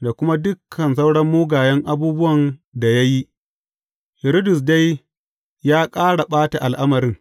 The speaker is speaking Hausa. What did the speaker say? da kuma dukan sauran mugayen abubuwan da ya yi, Hiridus dai ya ƙara ɓata al’amarin.